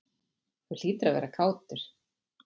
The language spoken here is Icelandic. Þú hlýtur að vera kátur?